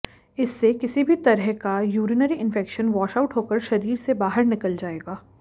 इससे किसी भी तरह का यूरिनरी इंफेक्शन वॉश आउट होकर शरीर से बाहर निकल जाएगा